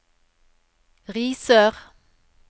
Risør